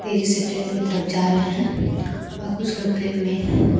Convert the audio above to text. तेजी से ट्रेन की तरफ जा रहे हैं और कुछ लोग ट्रेन में--